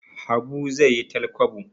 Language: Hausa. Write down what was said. Habu zai yi talkwabo